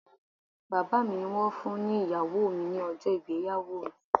Bàbá mi ni wón fún ni Ìyàwó mi ní ọjọ́ ìgbéyàwó mi